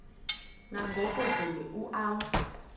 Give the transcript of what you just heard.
nangoku zulu uauthi